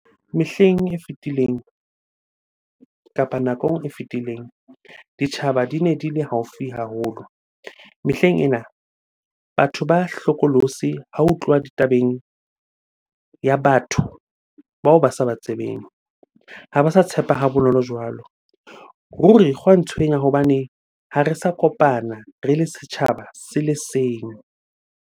Mehleng e fetileng kapa nakong e fetileng, ditjhaba di ne di le haufi haholo. Mehleng ena batho ba hlokolosi ha ho tluwa ditabeng ya batho bao ba sa ba tsebeng, ha ba sa tshepa ha bonolo jwalo. Ruri gwa ntshwenya hobane ha re sa kopana re le setjhaba se le seng.